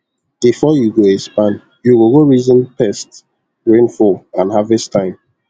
before you go expand you go go reason pests rainfall and harvest time